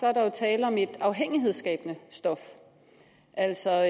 er der jo tale om et afhængighedsskabende stof altså